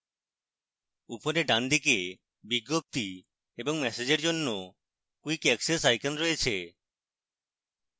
উপরের ডানদিকে বিজ্ঞপ্তি এবং ম্যাসেজের জন্য quick অ্যাক্সেস icons রয়েছে